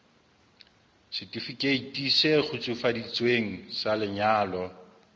setifikeiti se kgutsufaditsweng sa lenyalo